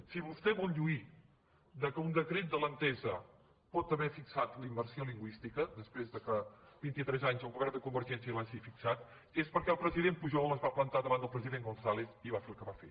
si vostè vol lluir del fet que un decret de l’ente·sa pot haver fixat la immersió lingüística després que vint·i·tres anys el govern de convergència l’hagi fixat és perquè el president pujol es va plantar davant del pre·sident gonzález i va fer el que va fer